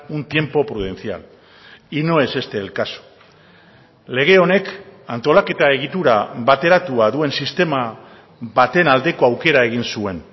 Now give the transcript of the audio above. un tiempo prudencial y no es este el caso lege honek antolaketa egitura bateratua duen sistema baten aldeko aukera egin zuen